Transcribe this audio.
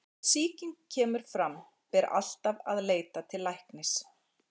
Ef sýking kemur fram ber alltaf að leita til læknis.